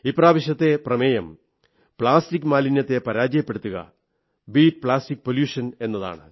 ഇപ്രാവശ്യത്തെ theme plastic മാലിന്യത്തെ പരാജയപ്പെടുത്തുക ബീറ്റ് പ്ലാസ്റ്റിക് പൊല്യൂഷൻ എന്നതാണ്